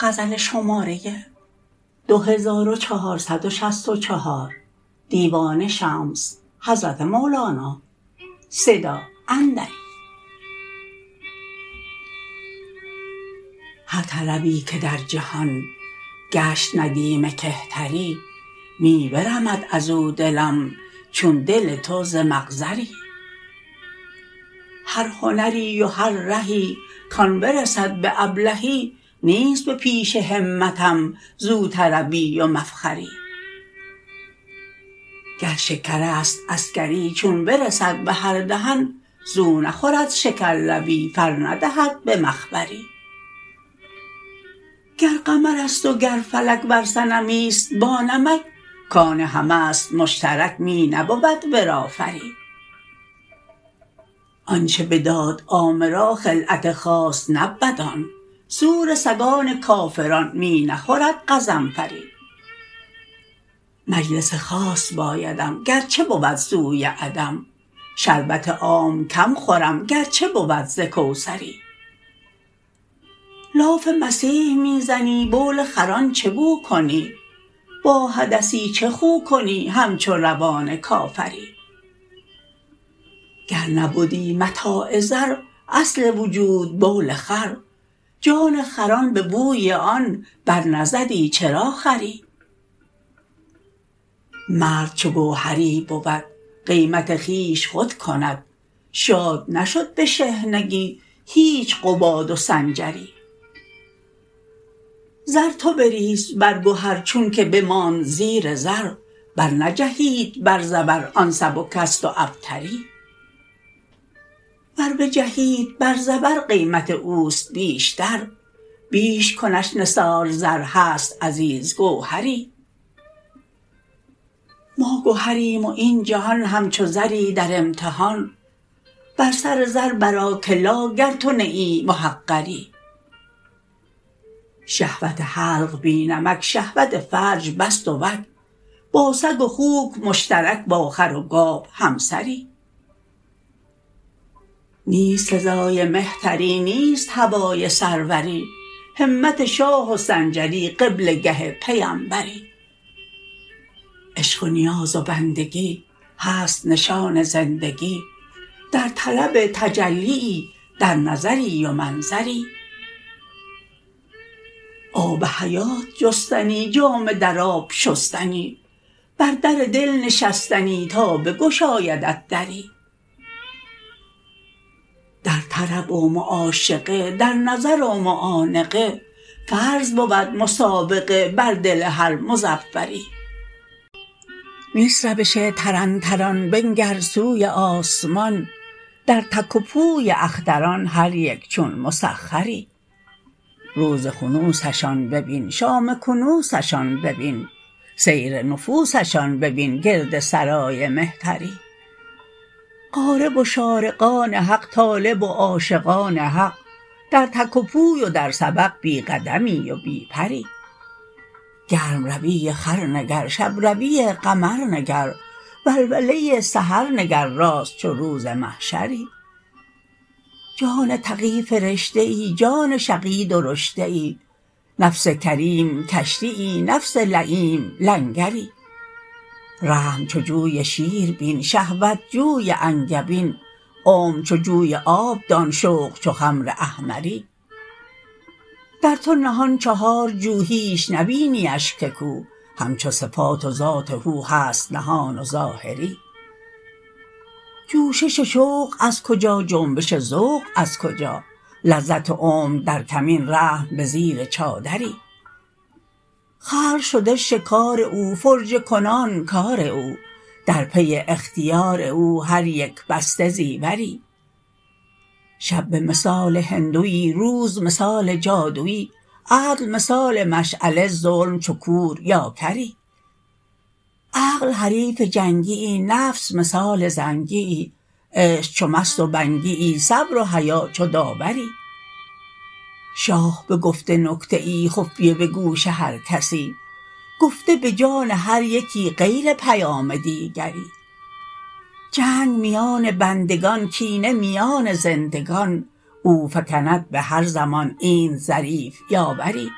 هر طربی که در جهان گشت ندیم کهتری می برمد از او دلم چون دل تو ز مقذری هر هنری و هر رهی کان برسد به ابلهی نیست به پیش همتم زو طربی و مفخری گر شکر است عسکری چون برسد به هر دهن زو نخورد شکرلبی فر ندهد به مخبری گر قمر است و گر فلک ور صنمی است بانمک کان همه است مشترک می نبود ورا فری آنچ بداد عامه را خلعت خاص نبود آن سور سگان کافران می نخورد غضنفری مجلس خاص بایدم گرچه بود سوی عدم شربت عام کم خورم گرچه بود ز کوثری لاف مسیح می زنی بول خران چه بو کنی با حدثی چه خو کنی همچو روان کافری گر نبدی متاع زر اصل وجود بول خر جان خران به بوی آن برنزدی چرا خوری مرد چو گوهری بود قیمت خویش خود کند شاد نشد به شحنگی هیچ قباد و سنجری زر تو بریز بر گهر چونک بماند زیر زر برنجهید بر زبر آن سبک است و ابتری ور بجهید بر زبر قیمت او است بیشتر بیش کنش نثار زر هست عزیز گوهری ما گهریم و این جهان همچو زری در امتحان بر سر زر برآ که لا گر تو نه ای محقری شهوت حلق بی نمک شهوت فرج پس دوک با سگ و خوک مشترک با خر و گاو همسری نیست سزای مهتری نیست هوای سروری همت شاه و سنجری قبله گه پیمبری عشق و نیاز و بندگی هست نشان زندگی در طلب تجلیی در نظری و منظری آب حیات جستنی جامه در آب شستنی بر در دل نشستنی تا بگشایدت دری در طرب و معاشقه در نظر و معانقه فرض بود مسابقه بر دل هر مظفری نیست روش طرنطران بنگر سوی آسمان در تک و پوی اختران هر یک چون مسخری روز خنوسشان ببین شام کنوسشان ببین سیر نفوسشان ببین گرد سرای مهتری غارب و شارقان حق طالب و عاشقان حق در تک و پوی و در سبق بی قدمی و بی پری گرم روی خور نگر شب روی قمر نگر ولوله سحر نگر راست چو روز محشری جان تقی فرشته ای جان شقی درشته ای نفس کریم کشتیی نفس لییم لنگری رحم چو جوی شیر بین شهوت جوی انگبین عمر چو جوی آب دان شوق چو خمر احمری در تو نهان چهارجو هیچ نبینیش که کو همچو صفات و ذات هو هست نهان و ظاهری جوشش شوق از کجا جنبش ذوق از کجا لذت عمر در کمین رحم به زیر چادری خلق شده شکار او فرجه کنان کار او در پی اختیار او هر یک بسته زیوری شب به مثال هندوی روز مثال جادوی عدل مثال مشعله ظلم چو کور یا کری عقل حریف جنگیی نفس مثال زنگیی عشق چو مست و بنگیی صبر و حیا چو داوری شاه بگفته نکته ای خفیه به گوش هر کسی گفته به جان هر یکی غیر پیام دیگری جنگ میان بندگان کینه میان زندگان او فکند به هر زمان اینت ظریف یاوری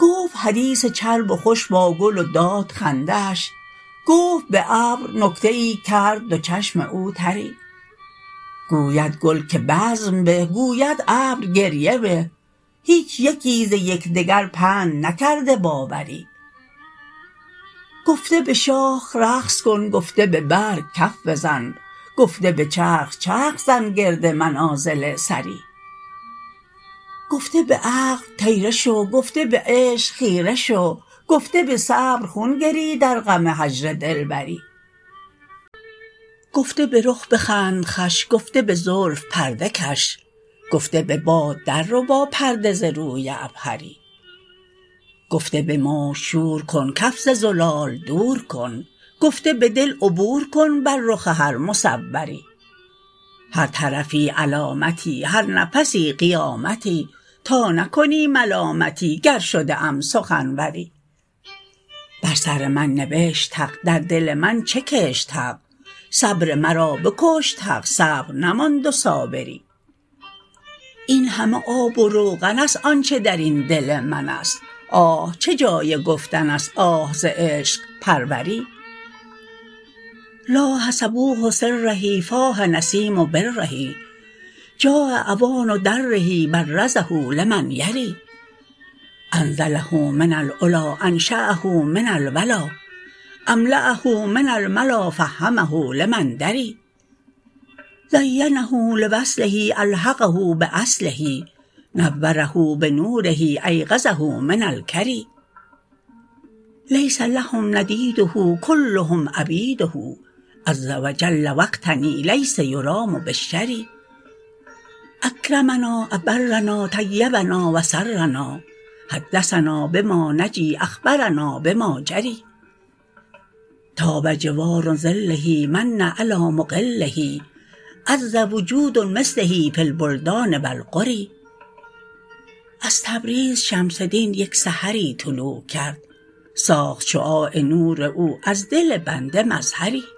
گفت حدیث چرب و خوش با گل و داد خنده اش گفت به ابر نکته ای کرد دو چشم او تری گوید گل که بزم به گوید ابر گریه به هیچ یکی ز یک دگر پند نکرده باوری گفته به شاخ رقص کن گفته به برگ کف بزن گفته به چرخ چرخ زن گرد منازل ثری گفته به عقل طیره شو گفته به عشق خیره شو گفته به صبر خون گری در غم هجر دلبری گفته به رخ بخند خوش گفته به زلف پرده کش گفته به باد درربا پرده ز روی عبهری گفته به موج شور کن کف ز زلال دور کن گفته به دل عبور کن بر رخ هر مصوری هر طرفی علامتی هر نفسی قیامتی تا نکنی ملامتی گر شده ام سخنوری بر سر من نبشت حق در دل من چه کشت حق صبر مرا بکشت حق صبر نماند و صابری این همه آب و روغن است آنچ در این دل من است آه چه جای گفتن است آه ز عشق پروری لاح صبوح سره فاح نسیم بره جاء اوان دره برزه لمن یری انزله من العلی انشأه من الولا املاه من الملا فهمه لمن دری زینه لوصله الحقه باصله نوره بنوره ایقظه من الکری لیس لهم ندیده کلهم عبیده عز و جل و اغتنی لیس یرام بالشری اکرمنا ابرنا طیبنا و سرنا حدثنا به ما نجی اخبرنا بما جری طاب جوار ظله من علی مقله عز وجود مثله فی البلدان و القری از تبریز شمس دین یک سحری طلوع کرد ساخت شعاع نور او از دل بنده مظهری